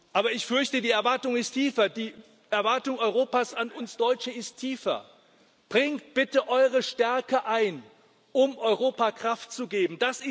Aber ich fürchte, die Erwartung ist tiefer, die Erwartung Europas an uns Deutsche ist tiefer Bringt bitte eure Stärke ein, um Europa Kraft zu geben.